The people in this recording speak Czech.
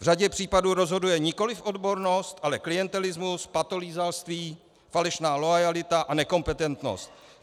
V řadě případů rozhoduje nikoliv odbornost, ale klientelismus, patolízalství, falešná loajalita a nekompetentnost.